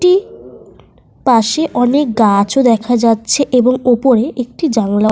একটি পাশে অনেক গাছও দেখা যাচ্ছে এবং ওপরে একটি জানলা --